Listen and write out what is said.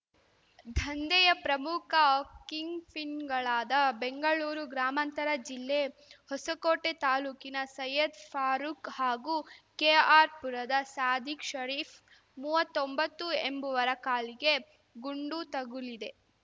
ದಂಧೆಯ ಪ್ರಮುಖ ಕಿಂಗ್‌ಪಿನ್‌ಗಳಾದ ಬೆಂಗಳೂರು ಗ್ರಾಮಾಂತರ ಜಿಲ್ಲೆ ಹೊಸಕೋಟೆ ತಾಲೂಕಿನ ಸಯ್ಯದ್‌ ಫಾರೂಕ್‌ ಹಾಗೂ ಕೆಆರ್‌ಪುರದ ಸಾದಿಕ್‌ ಶರೀಫ್‌ ಮೂವತ್ತೊಂಬತ್ತು ಎಂಬುವರ ಕಾಲಿಗೆ ಗುಂಡು ತಗುಲಿದೆ